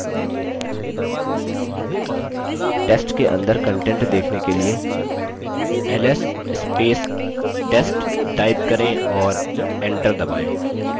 test के अंदर contents देखने के लिए ls test type करें और enter दबायें